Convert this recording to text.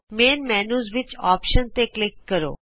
ਮੁੱਖ ਮੈਨਯੂ ਵਿਚ ਆਪਸ਼ਨਜ਼ ਤੇ ਕਲਿਕ ਕਰੋ